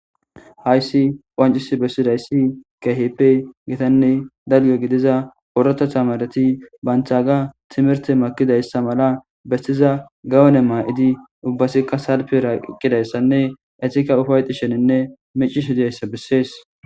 Hayssi qancis bessidayssi keheppe gitanne dalge gidiza orota tamareti banthaaga timerte makidayssa mala bestiza gawone maa7idi ubbasikka salpe raaqqidayssanne etika ufayti sheninne micishi diyayssa bessees.